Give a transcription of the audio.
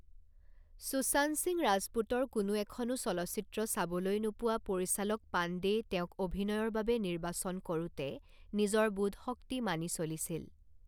সুশান্ত সিং ৰাজপুতৰ কোনো এখনো চলচ্চিত্ৰ চাবলৈ নোপোৱা পৰিচালক পাণ্ডেই তেওঁক অভিনয়ৰ বাবে নিৰ্বাচন কৰোঁতে নিজৰ বোধশক্তি মানি চলিছিল।